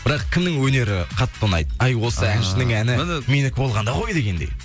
бірақ кімнің өнері қатты ұнайды әй осы әншінің әні менікі болғанда ғой дегендей